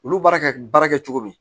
Olu baara ka baara kɛ cogo min